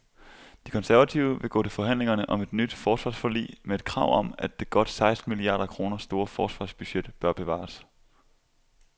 De konservative vil gå til forhandlingerne om et nyt forsvarsforlig med et krav om, at det godt seksten milliarder kroner store forsvarsbudget bør bevares.